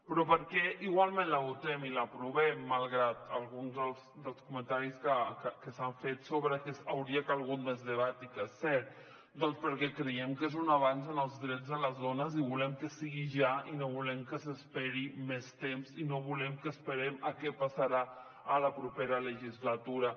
però per què igualment la votem i l’aprovem malgrat alguns dels comentaris que s’han fet sobre que hauria calgut més debat i que és cert doncs perquè creiem que és un avanç en els drets de les dones i volem que sigui ja no volem que s’esperi més temps i no volem esperar a què passarà a la propera legislatura